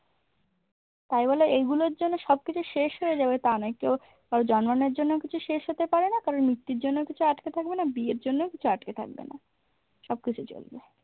তাই বলে এগুলোর জন্য সবকিছু শেষ হয়ে যাবে তা নয় কেউ কারোর জন্মানোর জন্য কিছু শেষ হতে পারে না কারর মৃত্যুর জন্যও কিছু আটকে থাকবে না বিয়ের জন্যও কিছু আটকে থাকবে না। সবকিছু চলবে।